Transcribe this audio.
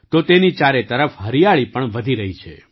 તો તેની ચારે તરફ હરિયાળી પણ વધી રહી છે